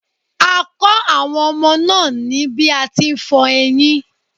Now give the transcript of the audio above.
A kọ àwọn ọmọ náà ní bí a ti n fọ eyín.